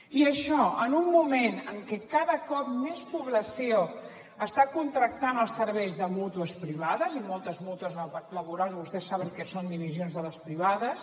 i això en un moment en què cada cop més població està contractant els serveis de mútues privades i moltes mútues laborals vostès saben que són divisions de les privades